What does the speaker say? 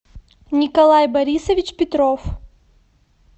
николай борисович петров